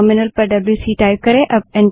terminal window पर W C type करें